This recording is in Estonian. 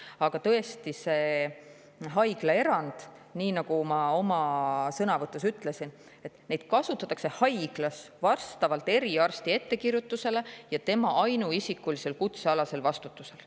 Aga tõesti, seda haiglaerandit, nii nagu ma oma sõnavõtus ka ütlesin, kasutatakse haiglas vastavalt eriarsti ettekirjutusele ja tema ainuisikulisel kutsealasel vastutusel.